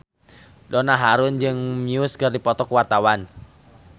Donna Harun jeung Muse keur dipoto ku wartawan